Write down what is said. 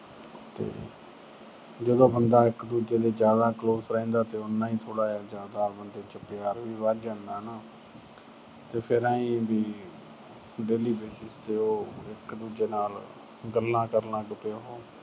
ਜਦੋਂ ਬੰਦਾ ਇੱਕ ਦੂਜੇ ਦੇ ਜਿਆਦਾ close ਰਹਿੰਦਾ ਤਾਂ ਉਨਾਂ ਹੀ ਥੋੜਾ ਜਿਆਦਾ ਬੰਦੇ ਚ ਪਿਆਰ ਵੀ ਵਧ ਜਾਂਦਾ ਹਨਾ। ਤੇ ਫਿਰ ਆਏਂ ਵੀ ਉਹ daily basis ਤੇ ਇਕ ਦੂਜੇ ਨਾਲ ਗੱਲਾਂ ਕਰਨ ਲੱਗ ਪਏ ਉਹੋ।